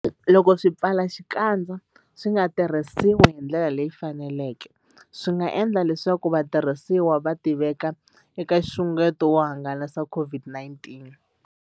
Loko swipfalaxikandza swi nga tirhisiwi hi ndlela leyi faneleke, swi nga endla leswaku vatirhisi va tiveka eka nxungeto wo hangalasa COVID-19.